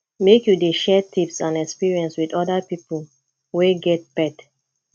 make you dey share tips and experience wit oda pipo wey get pet